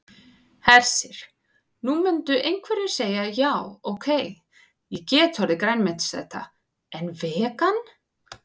Hersir: Nú myndu einhverjir segja já ok, ég get orðið grænmetisæta en vegan?